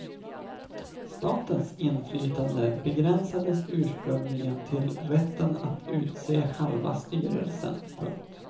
Statens inflytande begränsades ursprungligen till rätten att utse halva styrelsen. punkt